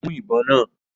Mú ìbọn náà!